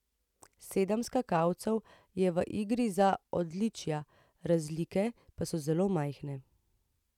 Sedem skakalcev je v igri za odličja, razlike pa so zelo majhne.